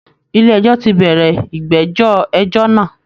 Ilé ẹjọ́ ti bẹ̀rẹ̀ ìgbẹ́jọ́ ẹjọ́ náà